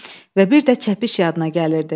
Və bir də çəpiş yadına gəlirdi.